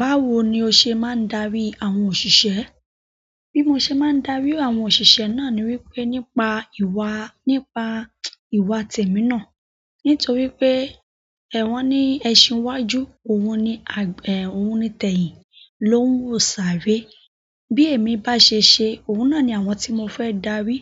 Báwo ni o ṣe máa ń darí àwọn òṣìṣẹ́? Bí mo ṣe máa ń darí àwọn òṣìṣẹ́ náà ni wípé nípa ìwà, nípa ìwà tẹ̀mí náà. Nítorí pé ẹ̀ wọ̀n ni ẹṣin wá ju, òun ni àgbẹ̀, òun ni tẹ̀yìn, ló ń wò sà ré. Bí èmi bá ṣe ṣe, òun náà ni àwọn tí mo fẹ́ darí.